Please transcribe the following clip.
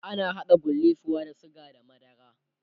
ana haɗa gullisuwa da sugar da madara